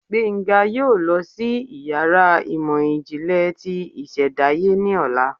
Gbenga yóò lọ sí iyàrá ìmọ jinle tí ìsèdáye ní ọla